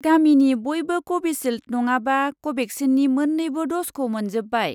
गामिनि बयबो कभिसिल्द नङाबा कभेक्सिननि मोन्नैबो द'जखौ मोनजोब्बाय।